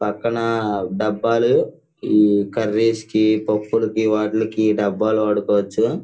పక్కన డబ్బాలు ఈ కర్రీస్ కి పప్పులు కి వాటిలోకి డబ్బాలు వాడుకోవచ్చు.